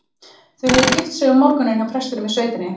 Þau höfðu gift sig um morguninn hjá prestinum í sveitinni.